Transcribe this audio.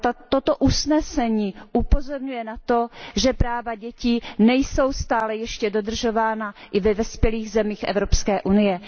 Toto usnesení upozorňuje na to, že práva dětí nejsou stále ještě dodržována i ve vyspělých zemích Evropské unie.